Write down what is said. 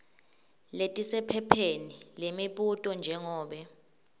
letisephepheni lemibuto njengobe